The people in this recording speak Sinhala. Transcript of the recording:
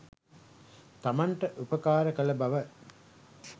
තමන්ට උපකාර කළ බව